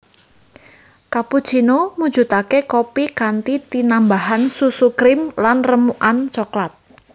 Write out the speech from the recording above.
Cappuccino mujudake kopi kanthi tinambahan susu krim lan remukan cokelat